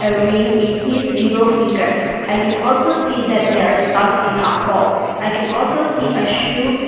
ring in his middle finger I can also see that they are stuck in a hole I can also see a shoe --